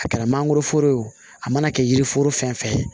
A kɛra mangoro foro ye o a mana kɛ yiri foro fɛn fɛn ye